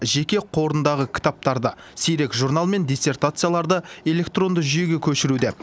жеке қорындағы кітаптарды сирек журнал мен диссертацияларды электронды жүйеге көшіруде